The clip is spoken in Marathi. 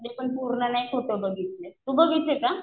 ते पूर्ण नाही फोटो बघितले. तू बघितले का?